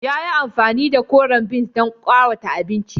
Ya yi amfani da koren peas don ƙawata abincin.